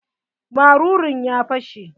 Marurun ya fashe?